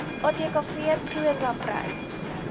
atkv prosa prys